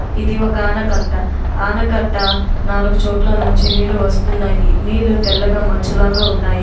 ఇది ఒక ఆనకట్ట. ఆనకట్ట నాలుగు చోట్ల నుంచి నీళ్లు వస్తున్నాయి. నీళ్లు తెల్లగా మంచులాగా ఉన్నాయి.